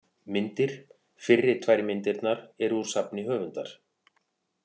Myndir: Fyrri tvær myndirnar eru úr safni höfundar.